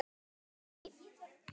Bóndi hélt nú ekki.